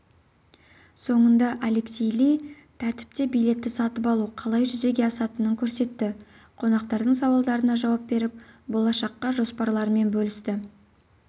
соңында алексей ли тәртіпте билетті сатып алу қалай жүзеге асатынын көрсетті қонақтардың сауалдарына жауап беріп болашаққа жоспарларымен бөлісті